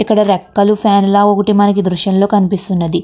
ఇక్కడ రెక్కల ఫ్యాన్ ల మనకి ఈ దృశ్యం లో కనిపిస్తున్నది.